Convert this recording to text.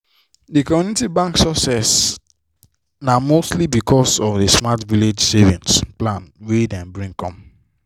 the community bank success na mostly because of the smart village savings plan wey dem bring come.